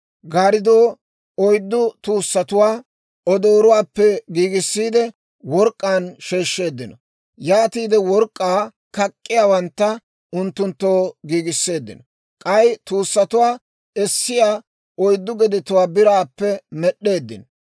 Gaariddoo oyddu tuussatuwaa odooruwaappe giigissiide, work'k'aan sheeshsheeddino. Yaatiide work'k'aa kak'k'iyaawantta unttunttoo giigisseeddino. K'ay tuussatuwaa essiyaa oyddu gedetuwaa biraappe med'd'eeddino.